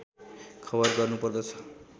खबर गर्नुपर्दछ